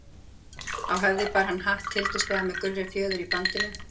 Á höfði bar hann hatt, tildurslegan með gulri fjöður í bandinu.